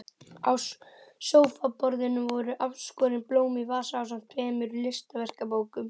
Á sófaborðinu voru afskorin blóm í vasa ásamt tveimur listaverkabókum.